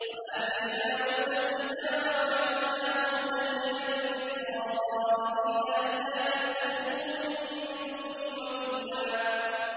وَآتَيْنَا مُوسَى الْكِتَابَ وَجَعَلْنَاهُ هُدًى لِّبَنِي إِسْرَائِيلَ أَلَّا تَتَّخِذُوا مِن دُونِي وَكِيلًا